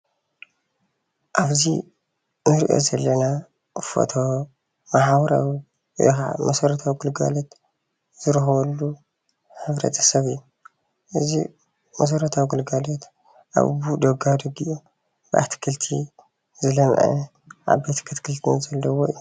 ኣብዚ እንሪኦ ዘለና ፎቶ ማሕበራዊ ወይ ከዓ መሠረታዊ ግልጋሎት ዝረክበሉ ሕብረተሰብ እዩ። እዚ መሰረታዊ ግልጋሎት ኣብ ደጋደጊኢ እዩ ብኣትክልቲ ዝለሞዐ እዩ።